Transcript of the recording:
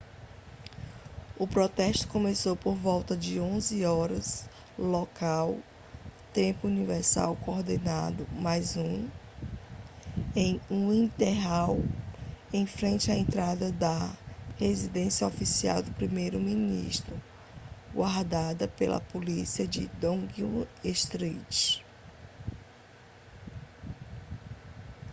o protesto começou por volta das 11:00 hora local tempo universal coordenado + 1 em whitehall em frente à entrada da residência oficial do primeiro ministro guardada pela polícia de downing street